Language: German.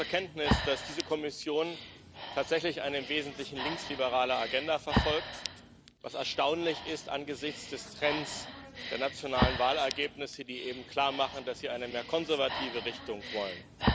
Wir nehmen zur Kenntnis, dass diese Kommission tatsächlich eine im Wesentlichen linksliberale Agenda verfolgt was erstaunlich ist angesichts des Trends der nationalen Wahlergebnisse, die eben klarmachen, dass die Menschen eine mehr konservative Richtung wollen.